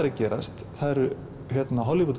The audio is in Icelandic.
að gerast það eru